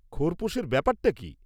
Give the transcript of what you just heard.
খোরপোশের ব্যাপারটা কি?